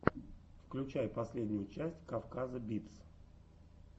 включай последнюю часть кавказа битс